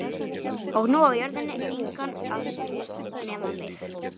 Og nú á jörðin engan að nema mig.